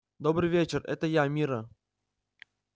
добрый вечер это я мирра